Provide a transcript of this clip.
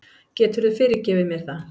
Geturðu fyrirgefið mér það?